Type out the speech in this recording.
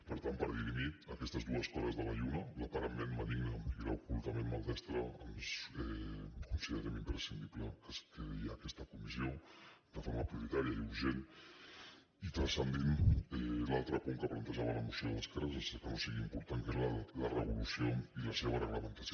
per tant per dirimir aquestes dues cares de la lluna l’aparentment benigna i l’ocultament maldestra considerem imprescindible que es creï aquesta comissió de forma prioritària i urgent i transcendint l’altre punt que plantejava la moció d’esquerra sense que no sigui important que és la revolució i la seva reglamentació